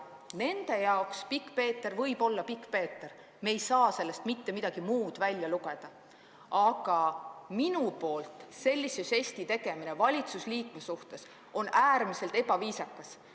Nende jaoks võib pikkpeeter olla pikkpeeter, me ei saa sellest mitte midagi muud välja lugeda, aga sellise žesti tegemine valitsusliikme suhtes oleks minu poolt äärmiselt ebaviisakas.